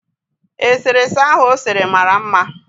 Eserese ahụ o sere mara mma